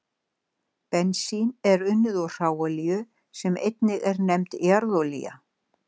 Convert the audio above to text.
Bensín er unnið úr hráolíu sem einnig er nefnd jarðolía.